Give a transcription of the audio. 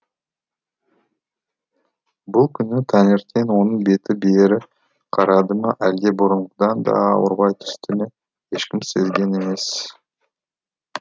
бұл күні таңертең оның беті бері қарады ма әлде бұрынғыдан да ауырлай түсті ме ешкім сезген емес